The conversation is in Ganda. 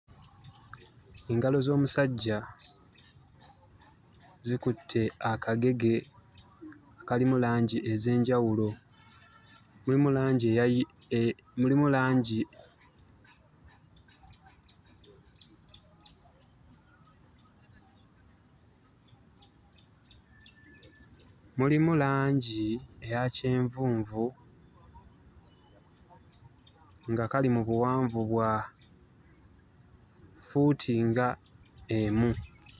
Engalo z'omusajja zikutte akagege kalimu langi ez'enjawulo. Mulimu langi eya kyenvunvu nga kali mu buwanvu bwa ffuuti nga emu.